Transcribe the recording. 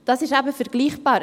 – Das ist eben vergleichbar.